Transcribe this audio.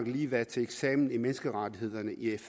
lige været til eksamen i menneskerettighederne i